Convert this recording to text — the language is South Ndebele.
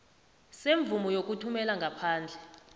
semvumo yokuthumela ngaphandle